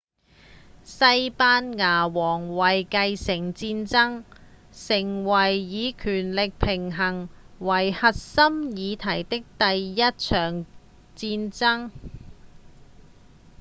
西班牙王位繼承戰爭成為以權力平衡為核心議題的第一場戰爭